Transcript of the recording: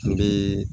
N bɛ